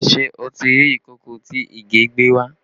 Ṣé o ti rí ìkòkò tí Ìgè gbé wá?